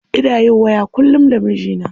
Ina yin waya kullum da mijina.